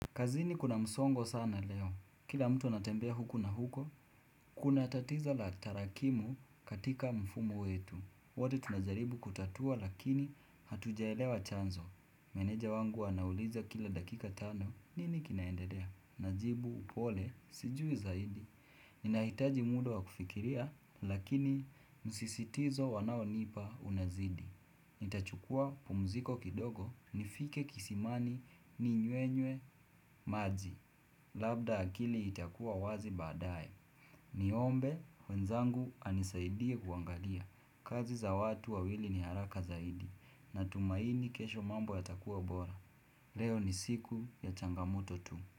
Kazini kuna msongo sana leo. Kila mtu anatembea huku na huko, kuna tatizo la tarakimu katika mfumo wetu. Wote tunajaribu kutatua lakini hatujaelewa chanzo. Meneja wangu anauliza kila dakika tano. Nini kinaendelea? Najibu pole, sijui zaidi. Ninahitaji muda wa kufikiria, lakini msisitizo wanao nipa unazidi. Nita chukua pumuziko kidogo nifike kisimani ninywenywe maji Labda akili itakuwa wazi baadaye ni ombe, wenzangu anisaidie kuangalia kazi za watu wawili ni haraka zaidi na tumaini kesho mambo yatakua bora Leo ni siku ya changamoto tu.